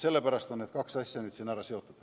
Sellepärast on need kaks asja nüüd siin ära seotud.